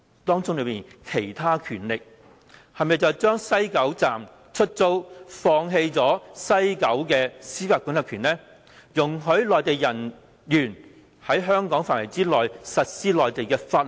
當中說的"其他權力"是否便是將西九站出租，放棄了西九的司法管轄權，容許內地人員在香港範圍之內實施內地法律？